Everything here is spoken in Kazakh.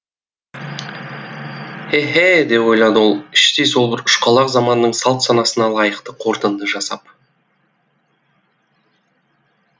еһе деп ойлады ол іштей сол бір ұшқалақ заманның салт санасына лайықты қорытынды жасап